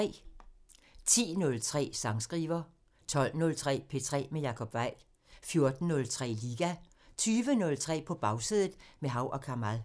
10:03: Sangskriver 12:03: P3 med Jacob Weil 14:03: Liga 20:03: På Bagsædet – med Hav & Kamal